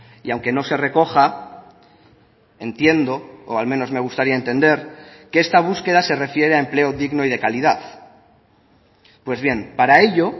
y aunque no se recoja entiendo o al menos me gustaría entender que esta búsqueda se refiere a empleo digno y de calidad pues bien para ello